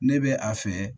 Ne bɛ a fɛ